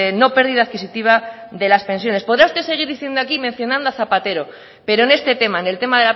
no pérdida adquisitiva de las pensiones podrá usted seguir diciendo aquí y mencionando a zapatero pero en este tema en el tema